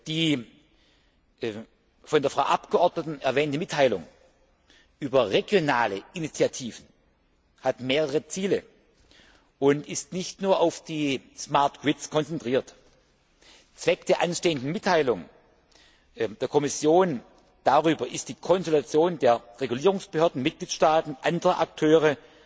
Die von der Frau Abgeordneten erwähnte Mitteilung über regionale Initiativen hat mehrere Ziele und ist nicht nur auf die smart grids konzentriert. Zweck der anstehenden Mitteilung der Kommission darüber ist die Konsultation der Regulierungsbehörden der Mitgliedstaaten und anderer Akteure